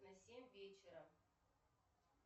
на семь вечера